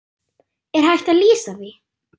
Er hægt að lýsa því?